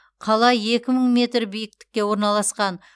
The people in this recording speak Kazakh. қала екі мың метр биіктікке орналасқан